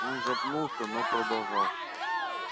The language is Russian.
он запнулся но продолжал